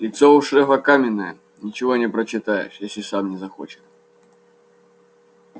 лицо у шефа каменное ничего не прочитаешь если сам не захочет